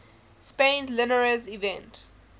spain's linares event